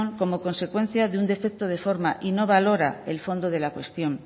como consecuencia de un defecto de forma y no valora el fondo de la cuestión